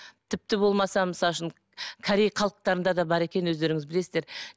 тіпті болмаса мысал үшін корей халықтарында да бар екен өздеріңіз білесіздер